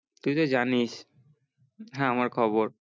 তুই তো জানিস হ্যা আমার খবর